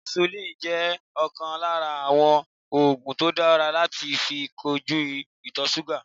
Insulin jẹ́ ọ̀kan lára àwọn ògùn tó dára láti fi kojú ìtọ̀súgà